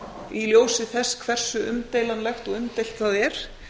í ljósi þess hversu umdeilanlegt og umdeilt það er